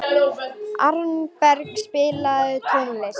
Arnbergur, spilaðu tónlist.